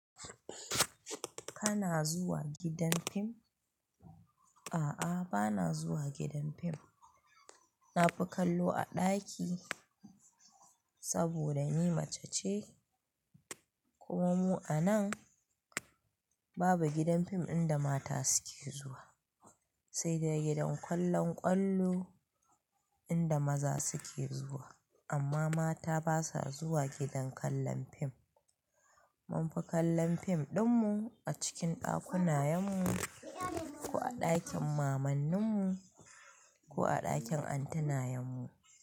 Kana zuwa gidan fim? A'a, bana zuwa gidan fim. Na fi kallo a ɗaki saboda ni mace ce kuma mu a nan babu gidan fim inda mata suke zuwa, sai dai gidan kallon kwallo inda maza suke zuwa. Amma mata basa zuwa gidan kallon fim. Mun fi kallon fim ɗinmu a cikin ɗakuna yenmu ko a ɗakin mamanninmu ko a ɗakin antenayenmu.